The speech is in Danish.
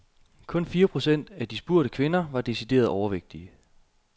Kun fire procent af de spurgte kvinder var decideret overvægtige.